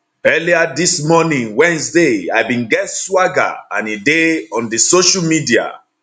earlier dis morning wednesday i bin get swagger and e dey on di social media